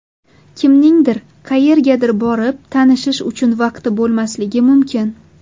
Kimningdir qayergadir borib tanishish uchun vaqti bo‘lmasligi mumkin.